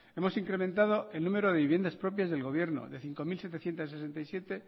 hemos incrementado el número de viviendas propias del gobierno de cinco mil setecientos sesenta y siete